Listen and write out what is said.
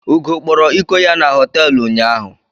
Ugo kpọrọ ịkọ ya na hotelu ụnyaahụ.